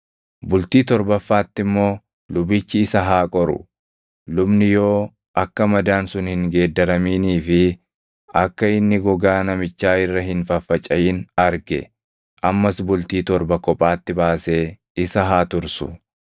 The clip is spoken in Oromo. Bultii torbaffaatti immoo lubichi isa haa qoru; lubni yoo akka madaan sun hin geeddaraminii fi akka inni gogaa namichaa irra hin faffacaʼin arge ammas bultii torba kophaatti baasee isa haa tursu.